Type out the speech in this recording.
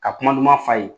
Ka kuma duman f'a ye